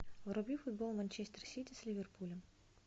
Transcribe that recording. вруби футбол манчестер сити с ливерпулем